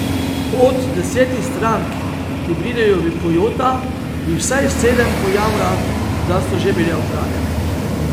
Od desetih strank, ki pridejo v Kojota, jih vsaj sedem pojamra, da so že bile okradene.